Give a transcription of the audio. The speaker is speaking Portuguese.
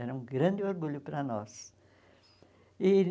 Era um grande orgulho para nós e